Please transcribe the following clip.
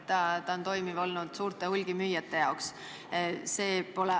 Ta on hästi toimiv olnud suurte hulgimüüjate jaoks.